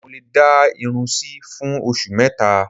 Mo lè dá irun sí fún oṣù mẹ́ta